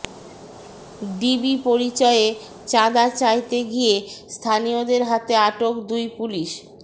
DB পরিচয়ে চাঁদা চাইতে গিয়ে স্থানীয়দের হাতে আটক দুই পুলিশ